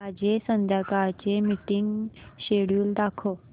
माझे संध्याकाळ चे मीटिंग श्येड्यूल दाखव